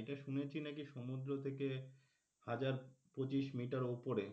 এটা শুনেছি নাকি সমুদ্র থেকে হাজার পঁচিশ মিটার উপরে